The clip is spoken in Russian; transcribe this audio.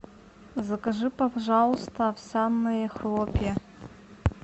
закажи пожалуйста овсяные хлопья